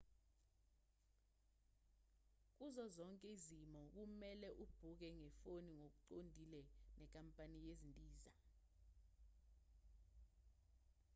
kuzo zonke izimo kumelwe ubhukhe ngefoni ngokuqondile nenkampani yezindiza